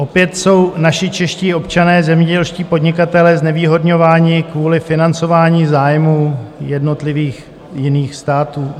Opět jsou naši čeští občané, zemědělští podnikatelé, znevýhodňováni kvůli financování zájmů jednotlivých jiných států.